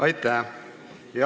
Aitäh!